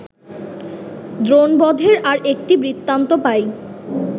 দ্রোণবধের আর একটি বৃত্তান্ত পাই